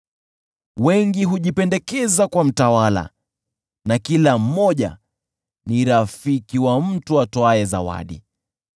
Wengi hujipendekeza kwa mtawala na kila mmoja ni rafiki wa mtu atoaye zawadi.